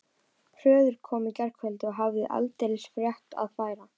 Hörður kom í gærkvöldi og hafði aldeilis fréttir að færa.